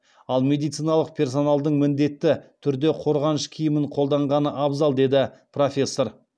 ал медициналық персоналдың міндетті түрде қорғаныш киімін қолданғаны абзал деді профессор